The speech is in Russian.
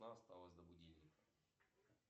осталось до будильника